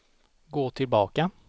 gå tillbaka